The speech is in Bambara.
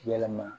Yɛlɛma